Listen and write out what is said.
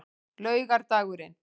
laugardagurinn